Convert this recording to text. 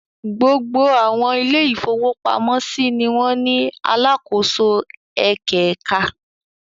Gbogbo àwọn ilé-ìfowópamọ́sí ni wọ́n ní alákòóso ẹ̀kẹ̀ẹ̀ka.